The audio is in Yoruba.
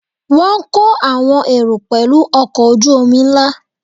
Wọ́n kó àwọn èrò pẹ̀lú ọkọ̀ ojú-omi ńlá